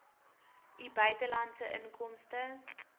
u buitelandse inkomste